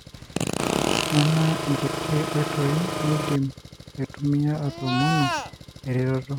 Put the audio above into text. nona inkuti oitoi nidim aitumia atomonu eretoto.